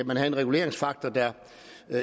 man havde en reguleringsfaktor der